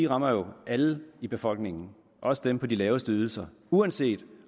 rammer alle i befolkningen også dem på de laveste ydelser uanset